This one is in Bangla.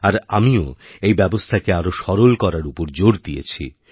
আর আমিও এই ব্যবস্থাকে আরও সরল করার উপরজোর দিয়েছি